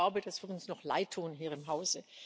Ich glaube, das wird uns noch leidtun hier im Haus.